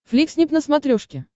фликснип на смотрешке